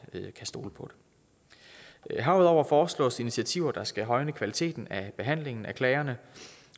stole på det herudover foreslås initiativer der skal højne kvaliteten af behandlingen af klagerne